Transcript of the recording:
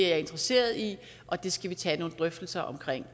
er interesseret i og det skal vi tage nogle drøftelser om